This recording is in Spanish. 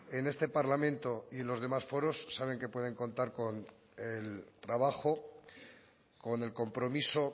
en este parlamento y los demás foros saben que pueden contar con el trabajo con el compromiso